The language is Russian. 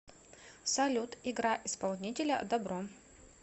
салют играй исполнителя дабро